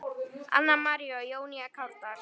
Anna María og Jónína Kárdal.